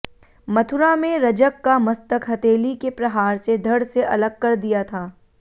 मथुरा में रजक का मस्तक हथेली के प्रहार से धड़ से अलग कर दिया था